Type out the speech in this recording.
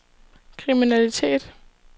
kriminalitet